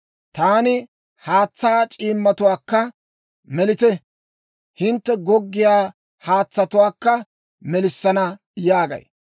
Taani haatsaa c'iimmatuwaakka, ‹Melite! Hintte goggiyaa haatsatuwaakka melissana› yaagay.